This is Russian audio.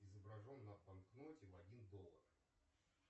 изображен на банкноте в один доллар